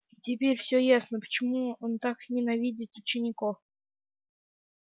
теперь всё ясно почему он так ненавидит учеников